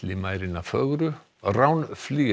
Villimærina fögru og Rán